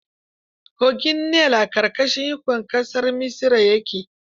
Kogin Nil a ƙarƙashin ikon ƙasar Misra ke.